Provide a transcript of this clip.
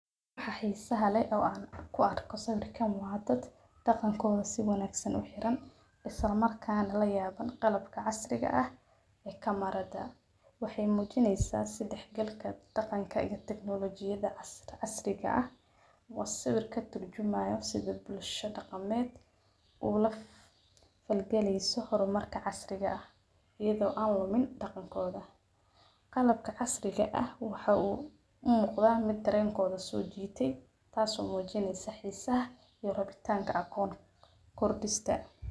waxaa xiiisaha le oo aan ku arko sawirkan waadat. Dhaqankooda si wanaagsan u xiran isla markaan la yaaban qalabka casriga ah ee ka marada, waxay muujinaysaa sidex galka dhaqankaaga taknolojiyada as- casriga ah. Wasabiirka turjumaya sidii bulshada qaameed uu la falgalayso horumarka casriga ah iyadoo aan wamin dhaqankooda. Qalabka casriga ah waxa uu muuqda mid terenkooda soo jiitay taasoo muujinaysa xiisaha iyo rabitaanka aqoona Kordistan.